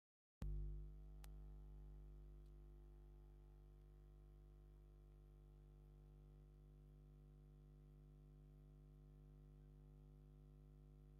ካብ ተክልታት ሓደ ዝኮነ ቀይሕ ሽኩርቲ ንደቂ ሰባት ንምግብነት ዝውዕል ዓይነት ተክሊ እዩ። ኣብ ጥዕና ደቂ ሰባት ኣገዳሲን ኣድላይን ምኳኑ ትፈልጡ ዶ?